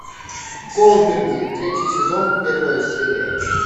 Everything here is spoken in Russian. голдберги третий сезон первая серия